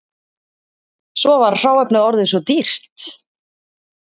Svo var hráefnið orðið svo dýrt